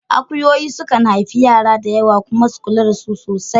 Akuyoyi su kan haifi yara masu yawa kuma su kula da su sosai